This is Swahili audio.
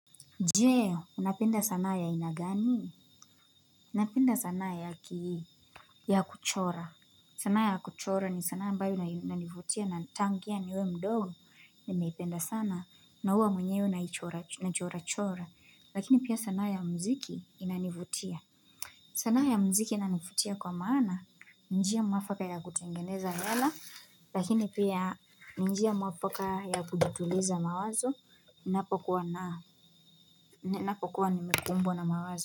Je, unapenda sanaa ya ainagani? Napenda sanaa ya kiii, ya kuchora. Sanaa ya kuchora ni sanaa ambyao inanivutia na tangu niwe mdogo. Nimeipenda sana, na huwa mwenyewe nachorachora. Lakini pia sanaa ya mziki inanivutia. Sanaa ya mziki inanivutia kwa maana, ni njia mwafaka ya kutengeneza yala. Lakini pia njia mwafaka ya kujituliza mawazo. Napokuwa na ninapokuwa nimekumbwa na mawazo.